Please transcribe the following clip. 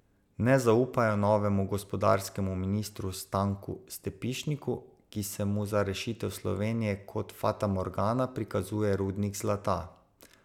Ne zaupajo novemu gospodarskemu ministru Stanku Stepišniku, ki se mu za rešitev Slovenije kot fatamorgana prikazuje rudnik zlata.